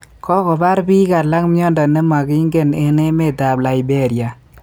Kokobar biik alak myondo ne mangingen eng' emet ab liberia